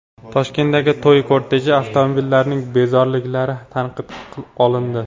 Toshkentdagi to‘y korteji avtomobillarining bezoriliklari tanqidga olindi .